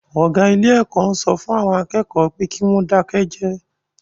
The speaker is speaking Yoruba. Ọ̀gá ilé-ẹ̀kọ́ ń sọ fún àwọn akẹ́kọ̀ọ́ pé kí wọ́n dákẹ́ jẹ́ẹ́.